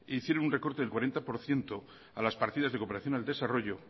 hicieron un recorte del cuarenta por ciento a las partidas de cooperación al desarrollo